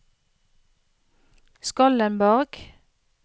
Skollenborg